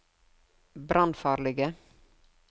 brannfarlige